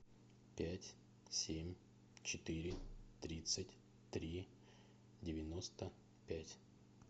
пять семь четыре тридцать три девяносто пять